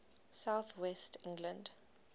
south west england